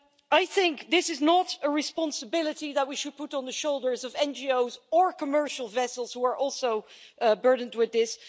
I think that this is not a responsibility that we should put on the shoulders of NGOs or commercial vessels, which are also burdened with this.